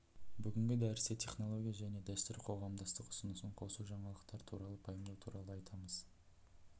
бүгінгі дәрісте технология және дәстүр қоғамдастық ұсынысын қосу жаңалықтар туралы пайымдау туралы айтамыз